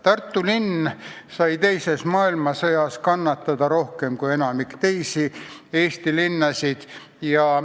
Tartu linn sai teises maailmasõjas kannatada rohkem kui enamik teisi Eesti linnasid.